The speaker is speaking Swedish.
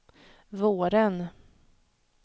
våren